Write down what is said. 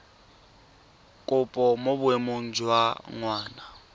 kopo mo boemong jwa ngwana